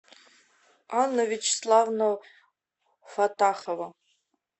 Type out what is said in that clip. анна вячеславовна фаттахова